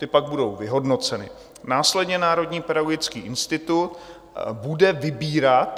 Ty pak budou vyhodnoceny, následně Národní pedagogický institut bude vybírat.